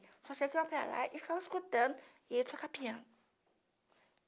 Só sei que eu ia para lá e estava escutando e ele tocava piano.